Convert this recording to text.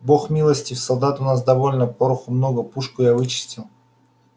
бог милостив солдат у нас довольно пороху много пушку я вычистил